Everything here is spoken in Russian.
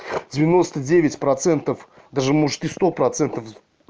девяноста девять процентов даже может и сто процентов